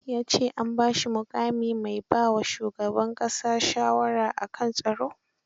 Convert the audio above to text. Ya ce an ba shi muƙamin mai ba wa shugab ƙasa shawara a kan tsaro.